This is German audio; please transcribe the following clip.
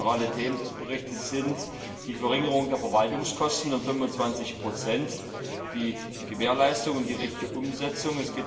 Zentrale Themen des Berichts sind die Verringerung der Verwaltungskosten um 25 die Gewährleistung und die richtige Umsetzung.